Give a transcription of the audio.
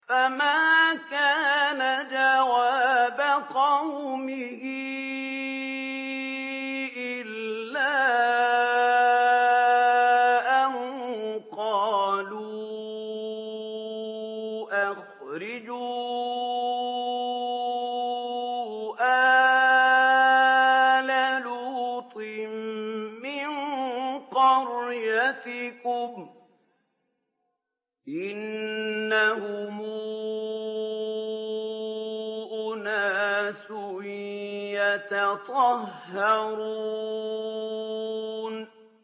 ۞ فَمَا كَانَ جَوَابَ قَوْمِهِ إِلَّا أَن قَالُوا أَخْرِجُوا آلَ لُوطٍ مِّن قَرْيَتِكُمْ ۖ إِنَّهُمْ أُنَاسٌ يَتَطَهَّرُونَ